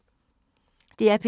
DR P2